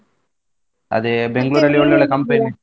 ಅದೇ .